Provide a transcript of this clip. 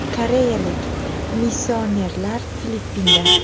Koreyalik missionerlar Filippinda.